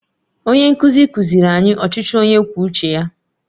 Onye nkuzi kụziiri anyị ọchịchị onye kwuo uche ya?